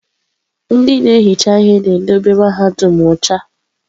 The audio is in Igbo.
Ndị na-ehicha ihe na-edobe mahadum ọcha.